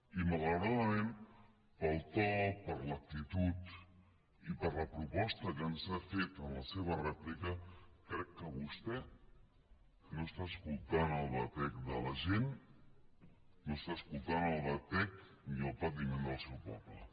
i malauradament pel to per l’actitud i per la proposta que ens ha fet en la seva rèplica crec que vostè no escolta el batec de la gent no escolta el batec ni el patiment del seu poble